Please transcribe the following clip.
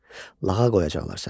Lağa qoyacaqlar səni.